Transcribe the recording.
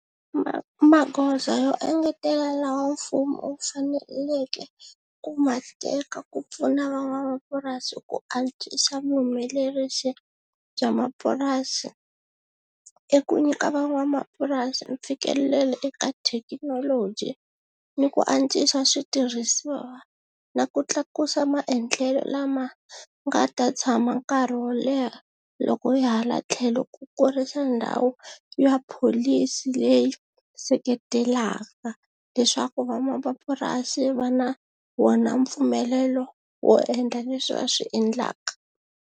magoza yo engetelela lawa mfumo wu faneleke ku ma teka ku pfuna van'wamapurasi ku antswisa vuhumelerisi bya mapurasi i ku nyika van'wamapurasi mfikelelo eka thekinoloji ni ku antswisa switirhisiwa na ku tlakusa maendlelo lama nga ta tshama nkarhi wo leha loko hi hala tlhelo ku kurisa ndhawu ya pholisi leyi seketelaka leswaku va vamapurasi va na wona mpfumelelo wo endla leswi va swi endlaka.